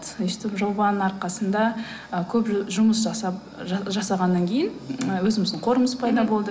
өстіп жобаның арқасында ы көп жұмыс жасап жасағаннан кейін і өзіміздің қорымыз пайда болды